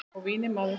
Og vínið maður!